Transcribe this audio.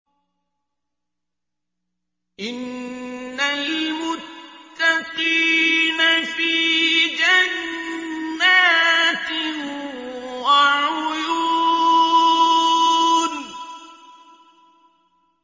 إِنَّ الْمُتَّقِينَ فِي جَنَّاتٍ وَعُيُونٍ